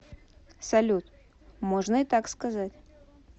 салют можно и так сказать